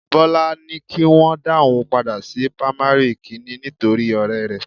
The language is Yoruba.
Bọ́lá ní kí wọn dá òun padà sí pamari kìíní nítorí ọrẹ rẹ